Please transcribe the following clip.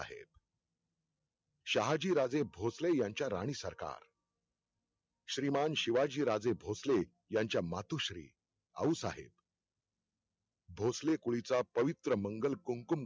शहाजीराजे भोंसले यांच्या राणीसरकार. श्रीमान शिवाजीराजे भोसलें यांच्या मातोश्री आऊसाहेब. भोंसले कुळीचा पवित्रमंगलकुंकुम